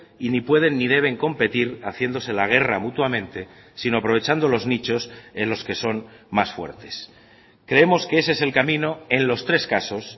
y ni pueden ni deben competir haciéndose la guerra mutuamente sino aprovechando los nichos en los que son más fuertes creemos que ese es el camino en los tres casos